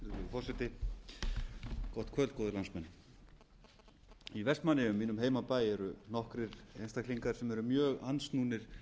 forseti gott kvöld góðir landsmenn í vestmannaeyjum mínum heimabæ eru nokkrir einstaklingar sem eru mjög andsnúnir